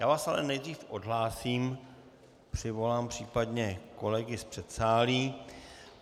Já vás ale nejdřív odhlásím, přivolám případně kolegy z předsálí.